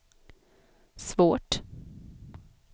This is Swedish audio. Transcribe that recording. svårt